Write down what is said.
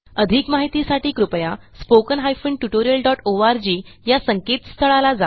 अधिक माहितीसाठी कृपया spoken hyphen tutorial dot ORG या संकेतस्थळाला जा